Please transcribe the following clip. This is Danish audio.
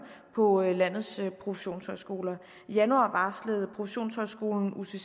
på landets professionshøjskoler i januar varslede professionshøjskolen ucc at